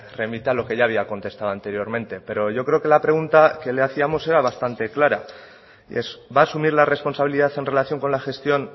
remite a lo que ya había contestado anteriormente pero yo creo que la pregunta que le hacíamos era bastante clara y es va a asumir la responsabilidad en relación con la gestión